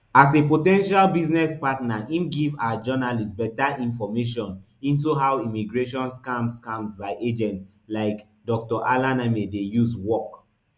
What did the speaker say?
as a po ten tial business partner im give our journalist beta information into how immigration scams scams by agents like dr alaneme dey use work